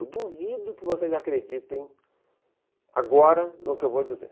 Eu duvido que vocês acreditem agora no que eu vou dizer.